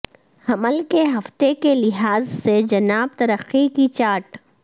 حمل کے ہفتے کے لحاظ سے جناب ترقی کی چارٹ